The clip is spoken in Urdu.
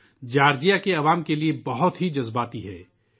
یہ جارجیا کے عوام کے لئے ایک ازحدجذباتی موضوع ہے